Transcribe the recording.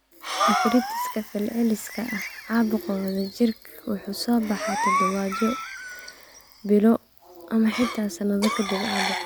Arthritis-ka fal-celiska ah, caabuqa wadajirku wuxuu soo baxaa toddobaadyo, bilo ama xitaa sannado ka dib caabuqa.